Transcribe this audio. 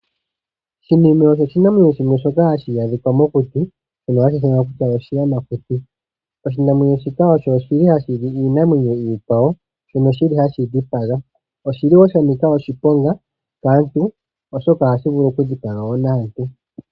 Shinime osho oshinamwenyo shoka hashi adhika mokuti shoka hashi ithanwa oshiyamakuti. Oshinamwenyo shika oshili hashili iinamwenyo iikwawo shono shili hashi dhipaga. Oshiliwo shanika oshiponga kaantu oshoka ohashi vulu oku dhipaga naantu.